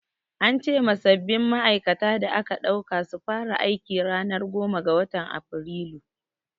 An ce ma sabbin ma'aikata da aka ɗauka su fara aiki ranar goma ga watan Afrilu.